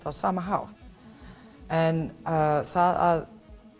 á sama hátt en það að